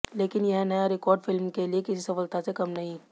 लेकिन यह नया रिकॉर्ड फिल्म के लिए किसी सफलता से कम नहीं